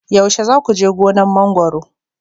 yaushe za ku je gonar mangwaro